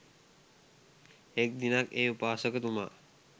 එක් දිනක් ඒ උපාසකතුමා